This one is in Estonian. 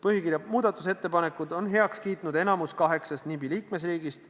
Põhikirja muutmise ettepanekud on heaks kiitnud enamik kaheksast NIB-i liikmesriigist.